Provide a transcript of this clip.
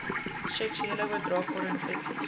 seksuele oordraagbare infeksies